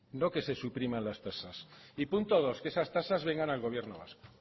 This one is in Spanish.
no que se supriman las tasas y punto dos que esas tasas vengan al gobierno vasco